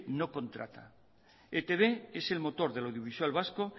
no contrata etb es el motor de lo audiovisual vasco